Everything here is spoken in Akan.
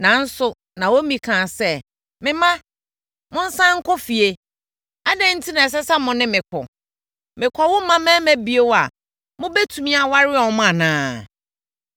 Nanso, Naomi kaa sɛ, “Me mma, monsane nkɔ fie. Adɛn enti na ɛsɛ sɛ mo ne me kɔ? Merekɔwo mmammarima bio a wɔbɛtumi awareware mo anaa?